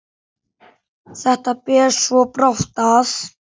Þetta ber svo brátt að.